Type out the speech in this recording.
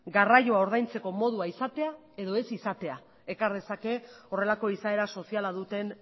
garraioa ordaintzeko modua izatea edo ez izatea ekar dezake horrelako izaera soziala duten